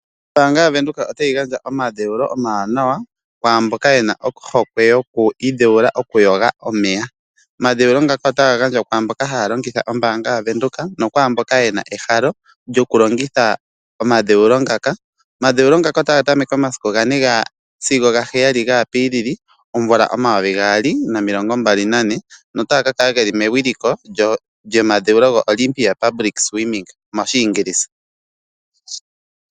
Ombaanga yaVenduka o ta yi gandja omadheulo omawanawa, kwaamboka ye na ohokwe yokwiidheulila okuyoga. Omadheulo ngaka ota ga ka gandjwa kwaamboka ha ya longitha ombaanga yaVenduka nokwaamboka ye na ehalo lyoku longitha omadheulo ngaka. Omadheulo ota ga tameke momasiku ga 4 sigo ga 7 gaApril 2024 nota ga ka kala ge li mewiliko lyoOlympia Public Swimming.